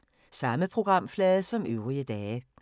Samme programflade som øvrige dage